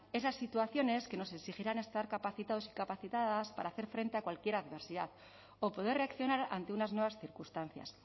esas situaciones que nos exigirán estar capacitados y capacitadas para hacer frente a cualquier adversidad o poder reaccionar ante unas nuevas circunstancias